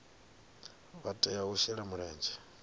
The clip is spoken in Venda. vha tea u shela mulenzhe